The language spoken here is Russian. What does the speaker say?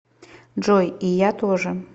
джой и я тоже